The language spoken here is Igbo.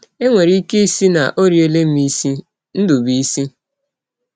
E nwere ike ịsị na ọ riela m isi. ”— Ndụbụisi.